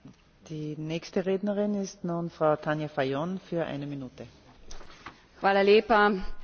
Žal mi je, da ne morem biti drugega kot kritična do trenutne politične situacije v Makedoniji.